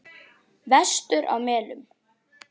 Vestur á Melum.